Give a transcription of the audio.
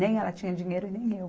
Nem ela tinha dinheiro e nem eu.